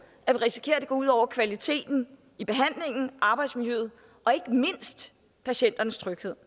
at vi risikerer at det går ud over kvaliteten i behandlingen arbejdsmiljøet og ikke mindst patienternes tryghed